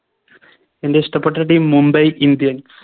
എൻറെ ഇഷ്ടപ്പെട്ട Team mumbai indians